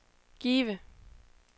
Give